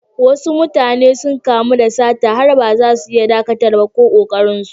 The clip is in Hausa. Wasu mutane sun kamu da sata har ma baza su iya ɗakatar ba, ko ƙoƙarin su.